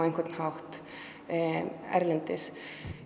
erlendis